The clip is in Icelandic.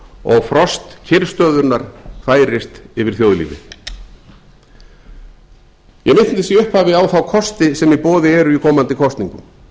og frost kyrrstöðunnar færist yfir þjóðlífið ég minntist í upphafi á þá kosti sem í boði eru í komandi kosningum